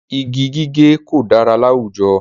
Igi gígé kò dára láwùjọ.